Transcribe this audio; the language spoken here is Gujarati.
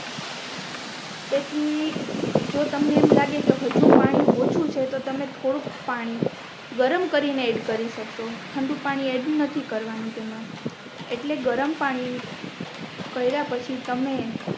તેથી જો તમને એમ લાગે કે અજુ પાણી ઓછું છે તો તમે થોડુંક પાણી ગરમ કરીને એડ કરી શકશો ઠંડુ પાણી એડ નથી કરવાનું તેમા એટલે ગરમ પાણી કર્યા પછી તમે